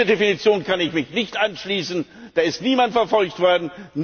Dieser Definition kann ich mich nicht anschließen. Da ist niemand verfolgt worden.